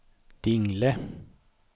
Dingle